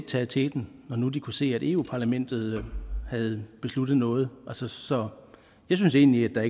taget teten når nu de kunne se at eu parlamentet havde besluttet noget så så jeg synes egentlig at